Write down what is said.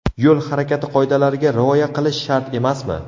Yo‘l harakati qoidalariga rioya qilish shart emasmi?.